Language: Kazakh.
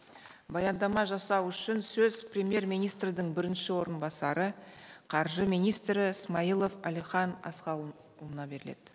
баяндама жасау үшін сөз премьер министрдің бірінші орынбасары қаржы министрі смайылов әлихан асханұлына беріледі